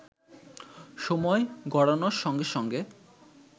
সময় গড়ানোর সঙ্গে সঙ্গে